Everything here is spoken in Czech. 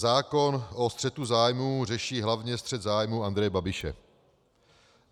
"Zákon o střetu zájmů řeší hlavně střet zájmů Andreje Babiše.